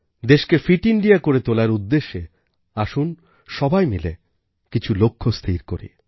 দেশকে fit India করে তোলার উদ্দেশ্যে আসুন সবাই মিলে কিছু লক্ষ্য স্থির করি